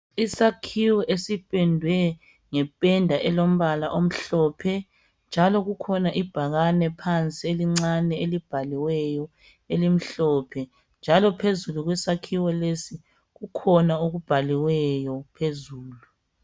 Isakhiwo esipendwe ngependa elombala omhlophe njalo kukhona ibhakana phansi elincane elibhaliweyo elimhlophe njalo phezulu kwesakhiwo lesi kukhona okubhaliweyo phezulu.